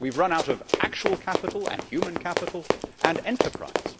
We have run out of actual capital and human capital and enterprise.